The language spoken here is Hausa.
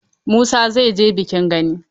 Musa zai je bikin gani.